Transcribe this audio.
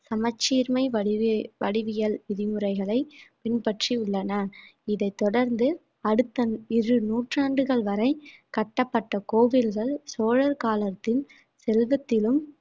சமச்சீர்மை வடிவே~ வடிவியல் விதிமுறைகளை பின்பற்றி உள்ளன இதைத் தொடர்ந்து அடுத்த இரு நூற்றாண்டுகள் வரை கட்டப்பட்ட கோவில்கள் சோழர் காலத்தில் செல்வத்திலும்